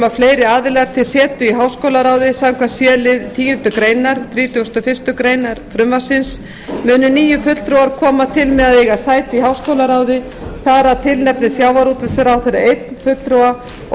um fleiri aðila til setu í háskólaráðinu samkvæmt c lið tíundu greinar frumvarpsins munu níu fulltrúar koma til með að eiga sæti í háskólaráði þar af tilnefnir sjávarútvegsráðherra einn fulltrúa og